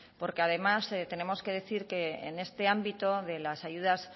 porque además tenemos que decir que en este ámbito de las ayudas